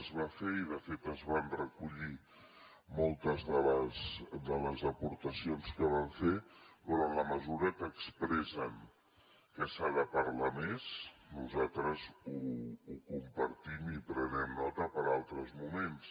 es va fer i de fet es van recollir moltes de les aportacions que van fer però en la mesura que expressen que s’ha de parlar més nosaltres ho compartim i en prenem nota per a altres moments